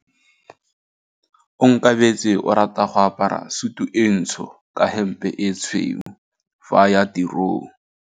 Onkabetse o rata go apara sutu e ntsho ka hempe e tshweu fa a ya tirong.